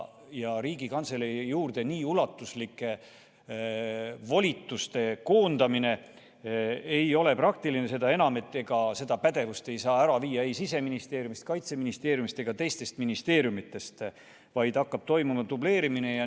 Ja Riigikantselei juurde nii ulatuslike volituste koondamine ei ole praktiline, seda enam, et ega seda pädevust ei saa ära viia ei Siseministeeriumist, Kaitseministeeriumist ega teistest ministeeriumidest, vaid hakkab toimuma dubleerimine.